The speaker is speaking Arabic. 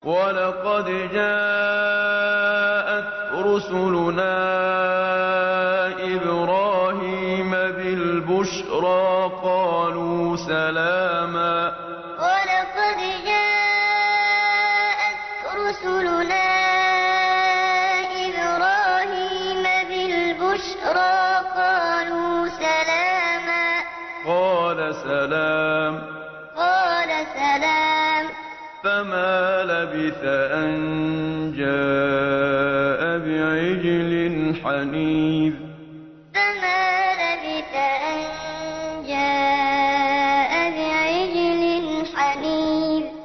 وَلَقَدْ جَاءَتْ رُسُلُنَا إِبْرَاهِيمَ بِالْبُشْرَىٰ قَالُوا سَلَامًا ۖ قَالَ سَلَامٌ ۖ فَمَا لَبِثَ أَن جَاءَ بِعِجْلٍ حَنِيذٍ وَلَقَدْ جَاءَتْ رُسُلُنَا إِبْرَاهِيمَ بِالْبُشْرَىٰ قَالُوا سَلَامًا ۖ قَالَ سَلَامٌ ۖ فَمَا لَبِثَ أَن جَاءَ بِعِجْلٍ حَنِيذٍ